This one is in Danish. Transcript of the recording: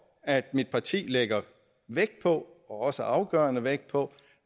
at mit parti lægger vægt på og også afgørende vægt på